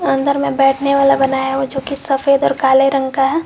अंदर में बैठने वाला बनाया हूं जो की सफेद और काले रंग का है।